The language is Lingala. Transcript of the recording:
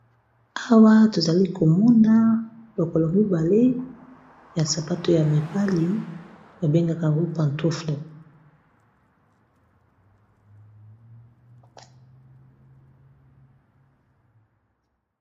awa tozali komona lokolo mibale ya sapato ya mibali babengaka yango pantofle